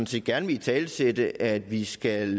set gerne vil italesætte at vi skal